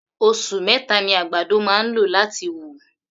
Osù meta ni àgbàdo máa ń lò láti wù.